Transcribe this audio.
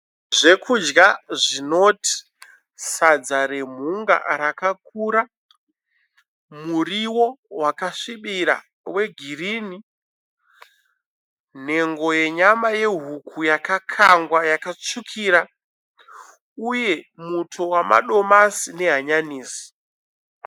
Zvekudya zvinoti sadza remhunga rakakura, muriwo wakasvibira wegirini, nhengo yenyama yehuku yakakangwa yakatsvukira uye muto wamadomasi nehanyanisi.